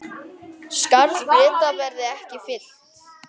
Skarð Breta verði ekki fyllt.